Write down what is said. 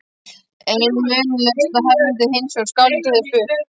Ein munnmælasaga hermdi hinsvegar að skáldið hefði spurt